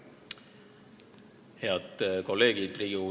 Head kolleegid!